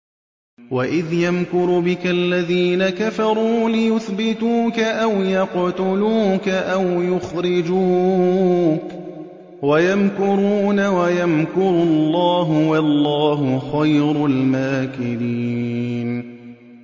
وَإِذْ يَمْكُرُ بِكَ الَّذِينَ كَفَرُوا لِيُثْبِتُوكَ أَوْ يَقْتُلُوكَ أَوْ يُخْرِجُوكَ ۚ وَيَمْكُرُونَ وَيَمْكُرُ اللَّهُ ۖ وَاللَّهُ خَيْرُ الْمَاكِرِينَ